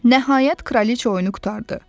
Nəhayət, Kraliçea oyunu qurtardı.